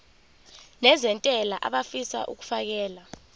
nezentela abafisa uukfakela